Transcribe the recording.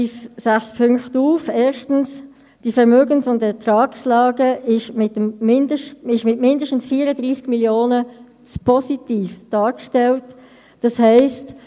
Die FiKo erwartet eine pragmatische, verwaltungsökonomische Lösung, die sich inhaltlich tendenziell an der Haltung des Regierungsrates orientiert.